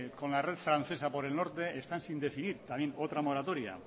con la red francesa por el norte están sin decidir también otra moratoria